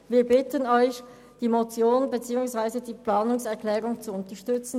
Wir bitten Sie, die Motion und die Planungserklärung 2 zu unterstützen.